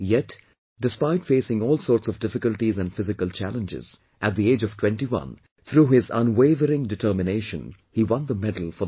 Yet despite facing all sorts of difficulties and physical challenges, at the age of 21, through his unwavering determination he won the medal for the country